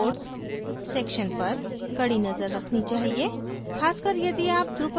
आपको अपनी site के reports section पर कडी नजर रखनी चाहिए